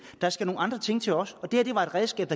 der skal nogle andre ting til også og det her var et redskab